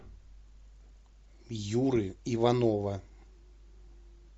юры иванова